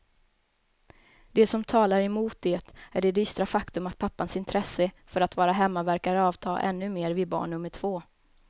Det som talar emot det är det dystra faktum att pappans intresse för att vara hemma verkar avta ännu mer vid barn nummer två.